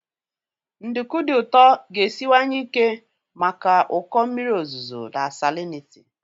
Nduku dị ụtọ ga-esiwanye ike maka ụkọ mmiri ozuzo na salinity.